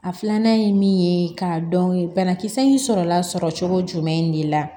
A filanan ye min ye k'a dɔn banakisɛ in sɔrɔla sɔrɔ cogo jumɛn in de la